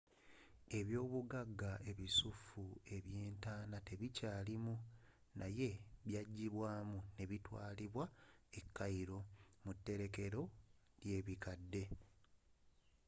ebyoobugagga ebisuffu ebyentaana tebikyaalimu naye byajjibwaamu ne bitwaalibwa e cairo mu terekkero lyebikadde